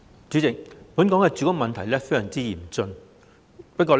主席，本港住屋問題非常嚴峻。